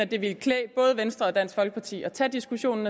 det ville klæde både venstre og dansk folkeparti at tage diskussionen